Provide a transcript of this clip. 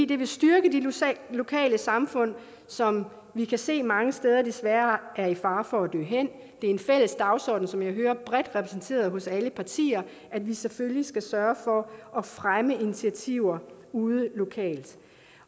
det vil styrke de lokale samfund som vi kan se mange steder desværre er i fare for at dø hen det er en fælles dagsorden som jeg hører bredt repræsenteret hos alle partier at vi selvfølgelig skal sørge for at fremme initiativer ude lokalt